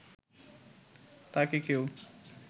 তাকে কেউ